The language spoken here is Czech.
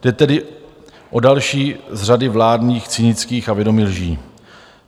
Jde tedy o další z řady vládních cynických a vědomých lží.